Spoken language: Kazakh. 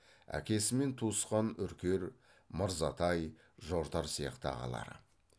әкесімен туысқан үркер мырзатай жортар сияқты ағалары